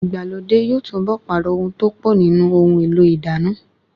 Ìgbàlódé yóò túnbọ̀ pààrọ̀ ohun tó pọ̀ nínú ohun èlò ìdáná